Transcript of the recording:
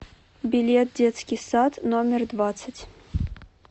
билет детский сад номер двадцать